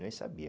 Nem sabia.